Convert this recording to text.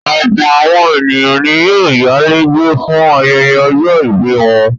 Ọ̀pọ̀ àwọn ènìyàn ni yóò yálé gbé fún ayẹyẹ ọjọ́-ìbí wọn.